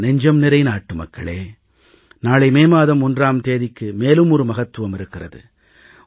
என் நெஞ்சம்நிறை நாட்டுமக்களே நாளை மே மாதம் 1 ஆம் தேதிக்கு மேலும் ஒரு மகத்துவம் இருக்கிறது